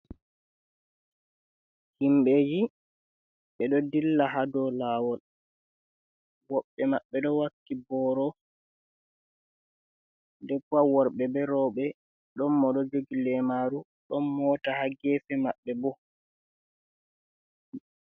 Himɓeji ɓe ɗo dilla ha dou lawol woɓɓe maɓɓe ɗo wakki boro den pat worbe be robe ɗon mo ɗo jogi lemaru ɗon mota ha gefe maɓɓe bo.